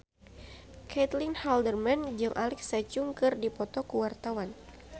Caitlin Halderman jeung Alexa Chung keur dipoto ku wartawan